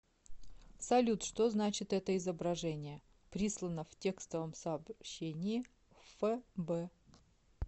салют что значит это изображение прислано в текстовом сообщении в фб